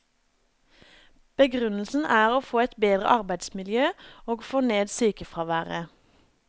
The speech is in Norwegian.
Begrunnelsen er å få et bedre arbeidsmiljø og få ned sykefraværet.